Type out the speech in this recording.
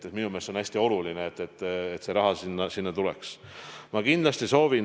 Minu meelest see on hästi oluline, et raha sinna tuleks.